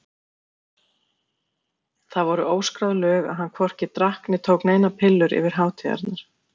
Það voru óskráð lög að hann hvorki drakk né tók neinar pillur yfir hátíðarnar.